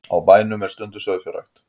Á bænum er stunduð sauðfjárrækt